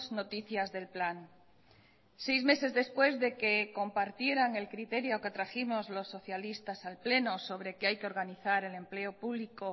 noticias del plan seis meses después de que compartieran el criterio que trajimos los socialistas al pleno sobre que hay que organizar el empleo público